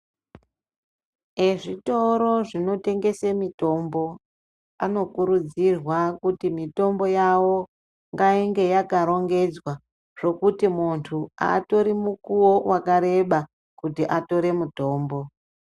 Ezvitoro zvinotengese mitombo anokurudzirwa kuti mitombo yawo ngainge yakarongedzwa zvokuti muntu aatori mukuwo wakareba kuti atore mutombo.